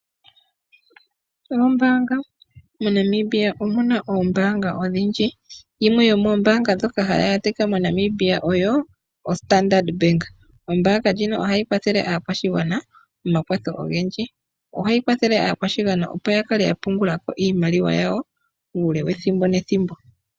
Oombaanga, MoNamibia omu na Oombaanga odhindji, yimwe yo moombaanga ndhoka hadhi adhika moNamibia oyo oStandard bank, ombaanga ndjino ohayi kwathele aakwashigwana omakwatho ogendji, ohayi kwathele aakwashigwana opo yakale ya pungula iimaliwa yawo uule wethimbo nethimbo.